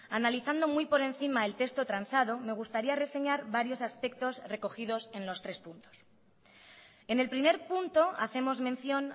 analizando muy por encima el texto transado me gustaría reseñar varios aspectos recogidos en los tres puntos en el primer punto hacemos mención